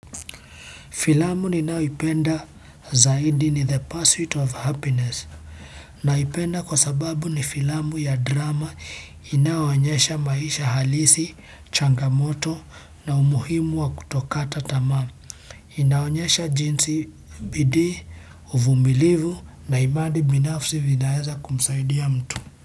Filamu ninayoipenda zaidi ni The Pursuit of Happiness. Naipenda kwa sababu ni filamu ya drama inayoonyesha maisha halisi, changamoto na umuhimu wa kutokata tamamu. Inaonyesha jinsi bidii, uvumilivu na imani binafsi vinaweza kumsaidia mtu.